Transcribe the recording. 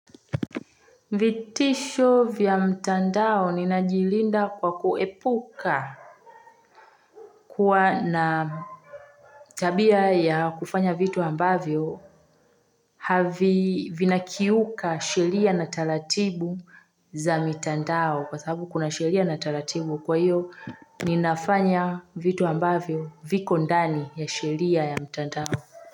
Vitisho vya mtandao ninajilinda kwa kuepuka kuwa na. Tabia ya kufanya vitu ambavyo. Havi vinakiuka sheria na taratibu, za mitandao kwa sababu kuna sheria na taratibu kwa hiyo, ninafanya vitu ambavyo viko ndani ya sheria ya mtandao.